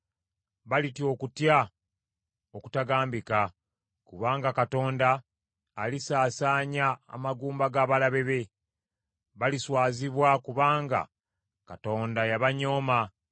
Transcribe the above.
Balitya okutya okutagambika; kubanga Katonda alisaasaanya amagumba g’abalabe be. Baliswazibwa kubanga Katonda yabanyooma.